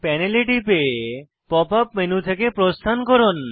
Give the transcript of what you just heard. প্যানেলে টিপে pop up menu থেকে প্রস্থান করুন